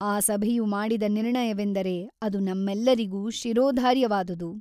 ಆ ಸಭೆಯು ಮಾಡಿದ ನಿರ್ಣಯವೆಂದರೆ ಅದು ನಮ್ಮೆಲ್ಲರಿಗೂ ಶಿರೋಧಾರ್ಯವಾದುದು.